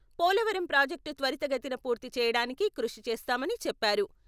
Polavaram project త్వరితగతిన పూర్తీ చేయడానికి కృషి చేస్తామని చెప్పారు.